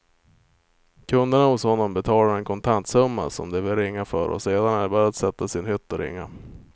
Kunderna hos honom betalar en kontantsumma som de vill ringa för och sedan är det bara att sätta sig i en hytt och ringa.